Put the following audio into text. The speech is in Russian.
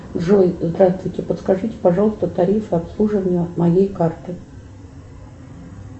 джой здравствуйте подскажите пожалуйста тарифы обслуживания моей карты